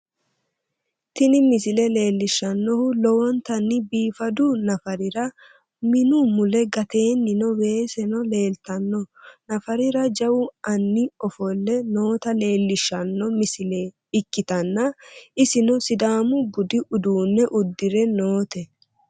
Tini misile leellishshannohu lowontanni biifadu nafarira minu mule gateennino weeseno leeltanno nafarira jawu anni ofolle noota leellishshanno misile ikkitanna, isino sidaamu budu uduunne uddire noote.